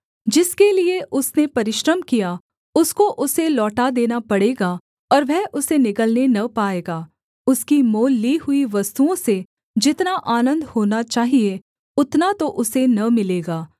जिसके लिये उसने परिश्रम किया उसको उसे लौटा देना पड़ेगा और वह उसे निगलने न पाएगा उसकी मोल ली हुई वस्तुओं से जितना आनन्द होना चाहिये उतना तो उसे न मिलेगा